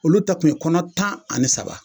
Olu ta tun ye kɔnɔ tan ani saba